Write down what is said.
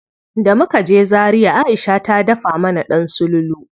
Da muka je Zaria Aisha ta dafa mana ɗan sululu.